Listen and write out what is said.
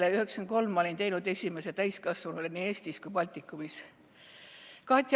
1993 olin ma teinud esimese siirdamise täiskasvanule, nii Eestis kui ka Baltikumis.